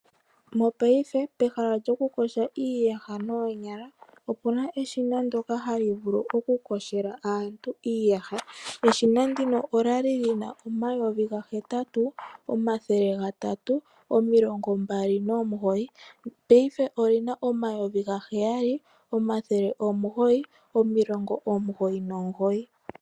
Mopayife pehala lyokukosha iiyaha noonyala opuna eshina ndoka hali vulu okukoshela aantu iiyaha, eshina ndino olali lina omayovi gahetatu omathele gatatatu omilongo mbali nomugoyi payife olina omayovi gaheyali omathele omugoyi omilongo omugoyi nomugoyi.